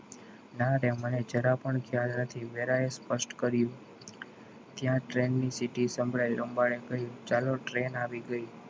ના રે મને જરા પણ ખ્યાલ નથી વેરાઈ સ્પષ્ટ કર્યુ ત્યાં train ની સીટી સંભળાઈ લેંબાડે ચાલો train આવી ગઈ.